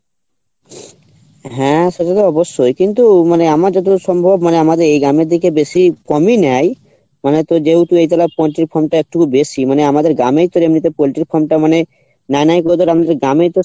হ্যাঁ সেটা তো অবশ্যই কিন্তু আমার যতটা সম্ভব মানে আমাদের এই গ্রামের দিকে বেশি কমই নেই মানে তোর যেহেতু এই জায়গা পোল্টির farm টা একটু বেশি মানে আমাদের গ্রামে প্রধানত পোল্টির farm টা মানে নাই নাই করে ধর আমাদের গ্রামেই তো